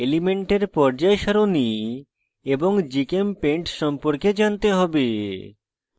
elements পর্যায় সারণী এবং gchempaint সম্পর্কে জানতে হবে